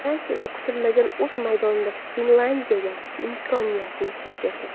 Fransiya esa kutilmaganda o‘z maydonida Finlyandiyaga imkoniyatni boy berdi.